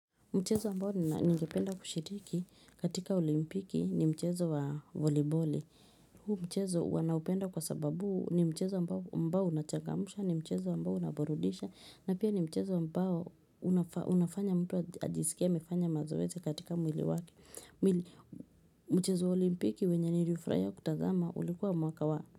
Mchezo ambao ningependa kushiriki katika olimpiki ni mchezo wa voleybole. Huu mchezo wanaupenda kwa sababu ni mchezo ambao unachangamsha ni mchezo ambao unaburudisha na pia ni mchezo ambao unafanya mtu ajisikie amefanya mazoezi katika mwili wake. Mchezo wa olimpiki wenye nilifurahia kutazama ulikuwa mwaka wa.